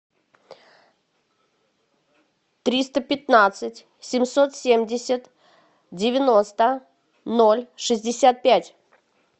триста пятнадцать семьсот семьдесят девяносто ноль шестьдесят пять